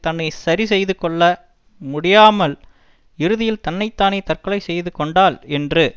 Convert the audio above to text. தன்னை சரி செய்துகொள்ள முடியாமல் இறுதியில் தன்னை தானே தற்கொலை செய்து கொண்டாள் என்று